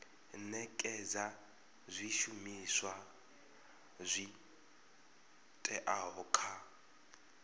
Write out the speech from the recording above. nekedza zwishumiswa zwi oeaho kha